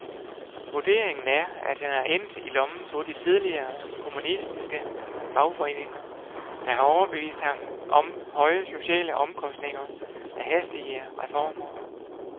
Vurderingen er, at han er endt i lommen på de tidligere kommunistiske fagforeninger, der har overbevist ham om høje sociale omkostninger af hastige reformer.